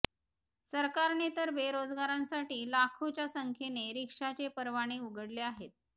सरकारने तर बेरोजगारांसाठी लाखोच्या संख्येने रिक्षाचे परवाने उघडले आहेत